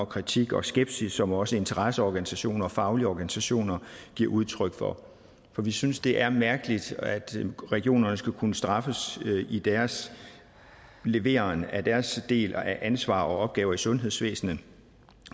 kritik og skepsis som også interesseorganisationer og faglige organisationer giver udtryk for for vi synes det er mærkeligt at regionerne skal kunne straffes i deres leveren af deres del af ansvar og opgaver i sundhedsvæsenet